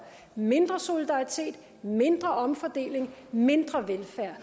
mindre solidaritet mindre omfordeling mindre velfærd